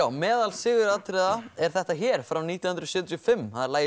meðal siguratriða er þetta hér frá nítján hundruð sjötíu og fimm það er lagið